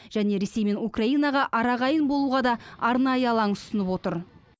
және ресей мен украинаға арағайын болуға да арнайы алаң ұсынып отыр